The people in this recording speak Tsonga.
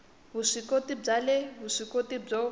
vuswikoti bya le vuswikoti byo